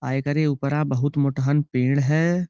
आ इकरे ऊपरा बहुत मोटहन पेड़ है।